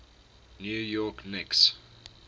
new york knicks